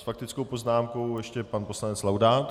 S faktickou poznámkou ještě pan poslanec Laudát.